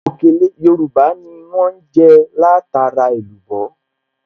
Òkèlè Yorùbá ni wọ́n jẹ́ látara èlùbọ́